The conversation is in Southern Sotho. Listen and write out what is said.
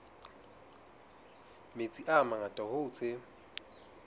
metsi a mangata hoo tse